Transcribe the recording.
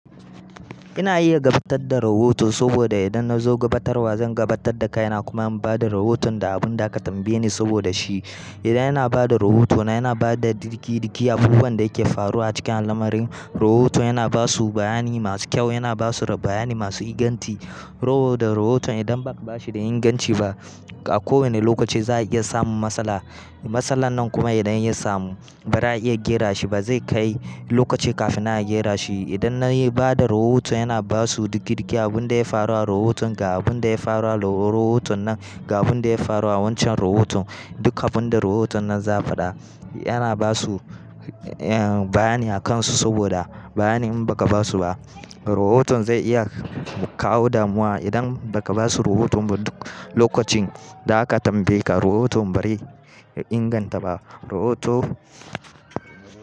Ina iya gabatar da rahoto saboda idan na zo gabatarwa zan gabatar da kaina kuma in bada rahoton da abun da aka tambaye ni saboda shi idan ina ba da rahotona ina bada duka-dukan abubuwan da yake faruwa a cikin al'amarin rahoto yana basu bayani masu kyau yana basu bayani masu inganci. Sabo da rahoton idan baka bashi da inganci ba a kowanne lokaci za a iya samun matsala. Matsalan nan kuma idan ya samu ba za a iya gyara shi ba zai kai lokaci kafin nan gera shi. Idan na bada rahoton ina basu duka dukan abin da ya faru a rahoton ga abun da ya faru a rahoton nan ga abun da ya faru a wancan rahoton duk abin da rahoton nan za a faɗa yana basu bayani a kansu saboda bayanin in baka basu ba rahoton zai iya kawo damuwa idan baka basu rahoton ba duk lokacin da aka tambaye ka rahoto bai inganta ba. Rahoto.